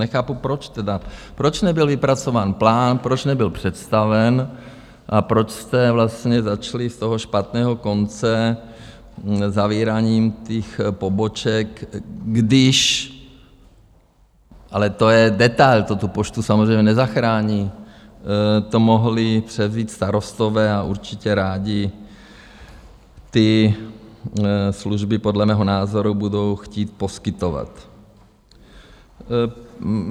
Nechápu proč tedy, proč nebyl vypracován plán, proč nebyl představen a proč jste vlastně začali z toho špatného konce, zavíráním těch poboček, když, ale to je detail, to tu Poštu samozřejmě nezachrání, to mohli převzít starostové a určitě rádi ty služby podle mého názoru budou chtít poskytovat.